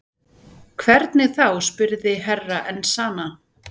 Hvernig þá spurði Herra Enzana.